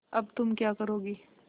अब तुम क्या करोगी